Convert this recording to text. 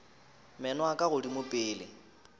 meno a ka godimo pele